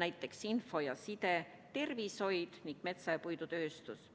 näiteks info ja side, tervishoid ning metsa- ja puidutööstus.